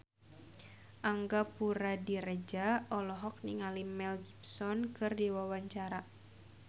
Angga Puradiredja olohok ningali Mel Gibson keur diwawancara